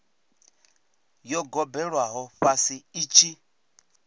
yo gobelelwaho fhasi i tshi